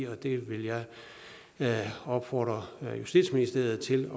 og det vil jeg opfordre justitsministeriet til